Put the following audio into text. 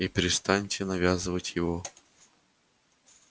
и перестаньте навязывать его